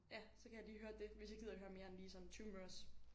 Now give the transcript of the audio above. Ja så kan jeg lige høre det hvis jeg gider høre mere end lige sådan 20 minutters